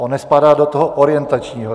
On nespadá do toho orientačního.